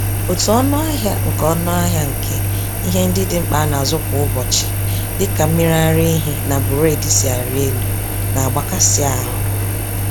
Otú ọnụahịa nke ọnụahịa nke ihe ndị dị mkpa a na-azụ kwa ụbọchị dịka mmiriaraehi na buredi si arị elu, nagbakasị ahụ